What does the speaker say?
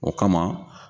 O kama